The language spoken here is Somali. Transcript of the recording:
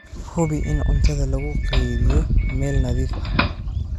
Hubi in cuntada lagu kaydiyo meel nadiif ah.